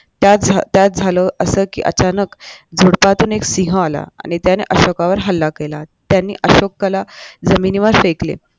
त्यात त्यात झालं असं कि अचानक झुडपातून एक सिंह आला आणि त्याने अशोकावर हल्ला केला त्याने अशोकला जमिनीवर फेकले